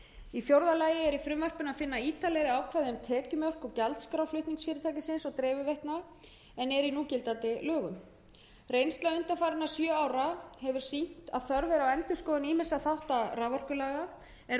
í fjórða lagi er í frumvarpinu að finna ítarleg ákvæði um tekjumörk og gjaldskrá flutningsfyrirtækisins og dreifiveitna en er í núgildandi lögum reynsla undanfarandi sjö ára hefur sýnt að þörf er á endurskoðun ýmissa þátta raforkulaga er varðar umfjöllun